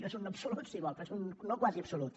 no és un no absolut si vol però és un no quasi absolut